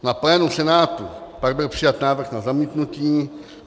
Na plénu Senátu pak byl přijat návrh na zamítnutí.